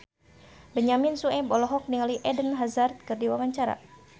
Benyamin Sueb olohok ningali Eden Hazard keur diwawancara